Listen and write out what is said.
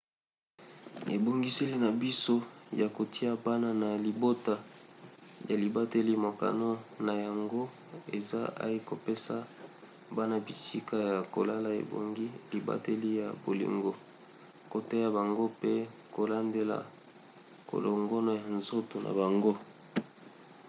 ebongiseli na biso ya kotia bana na libota ya libateli mokano na yango eza ay kopesa bana bisika ya kolala ebongi libateli ya bolingo koteya bango pe kolandela kolongono ya nzoto na bango